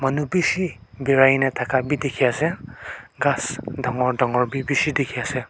nu bishi birai na thaka b dikhi ase ghas dangor dangor b bishi dikhi ase.